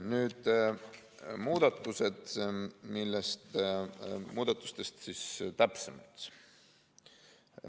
Nüüd muudatustest täpsemalt.